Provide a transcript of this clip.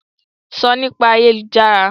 Sọ Nípa ayélujára!